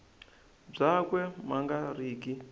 byakwe ma nga ri ki